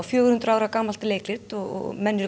fjögur hundruð ára gamalt leikrit og menn eru